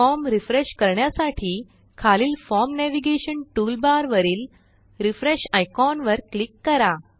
form refresh करण्यासाठी खालील form navigation toolbar वरील रिफ्रेश आयकॉन वर क्लिक करा